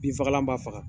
Binfagalan ma faga